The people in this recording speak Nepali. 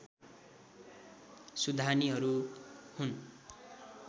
सुधानीहरू हुन्